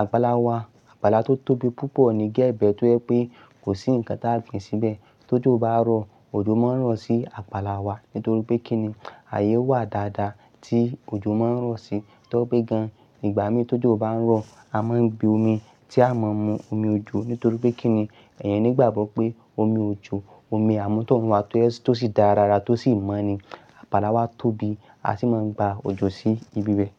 Àgbàlà wa, àgbàlà tó tóbi púpọ̀ ni géẹbẹ̀ tó jẹ́ pé kò sí ǹkan tí a o gbìn síbẹ̀. Tóji bá rọ, òjò máa ń rọ̀ sí àgbàlà wa nítorí pé kíni ayé wà dáadáa tí òjò máa ń rọ̀ sí tó pé gan. Nígbà mí tójú bá ń rọ, a máa ń gbe omi tí a máa ń mu, omi òjò nítorí pé kíni ẹ̀eyan ní ìgbàgbọ́ pé omi òjò, omi àmútọ̀runwa tó sì dára rara tó sì mọ̀ ni. Àgbàlà wa tóbi, a sì máa ń gba òjò sí ibi bẹ̀.